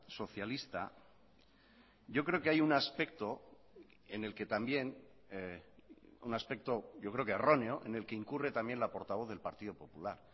socialista yo creo que hay un aspecto en el que también un aspecto yo creo que erróneo en el que incurre también la portavoz del partido popular